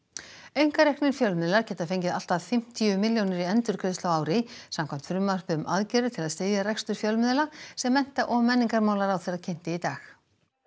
einkareknir fjölmiðlar geta fengið allt að fimmtíu milljónir í endurgreiðslu á ári samkvæmt frumvarpi um aðgerðir til að styðja rekstur fjölmiðla sem mennta og menningarmálaráðherra kynnti í dag